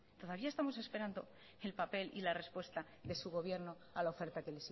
todavía estamos esperando el papel y la respuesta de su gobierno a la oferta que